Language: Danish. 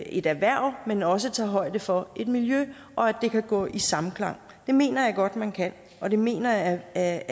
et erhverv men også tager højde for et miljø og at det kan gå i samklang det mener jeg godt man kan og det mener jeg at